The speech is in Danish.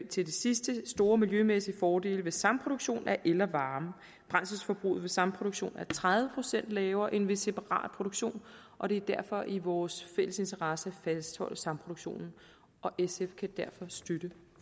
til det sidste store miljømæssige fordele ved samproduktion af el og varme brændselsforbruget ved samproduktion er tredive procent lavere end ved separat produktion og det er derfor i vores fælles interesse at fastholde samproduktionen sf kan derfor støtte